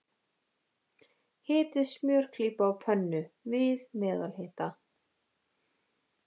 Hitið smjörklípu á pönnu, við meðalhita.